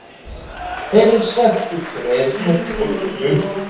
Heyrir sagt út úr heyrnartólinu